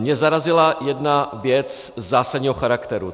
Mě zarazila jedna věc zásadního charakteru.